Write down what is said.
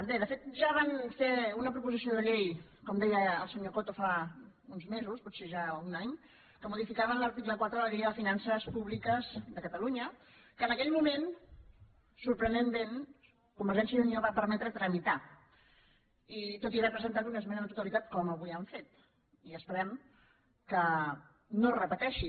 bé de fet ja van fer una proposició de llei com deia el senyor coto fa uns mesos potser ja un any en què modificaven l’article quatre de la llei de finances públiques de catalunya que en aquell moment sorprenentment convergència i unió va permetre tramitar tot i haver hi presentat una esmena a la totalitat com avui han fet i esperem que no es repeteixi